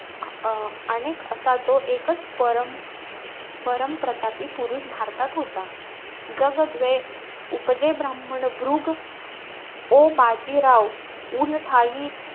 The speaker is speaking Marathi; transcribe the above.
अं अनेक असा तो एकचं परम परमप्रतापी असा पुरुष भारतात होता. जग द्वे उपजे ब्राम्हण भृग ओ बाजीराव ऊन ठायी,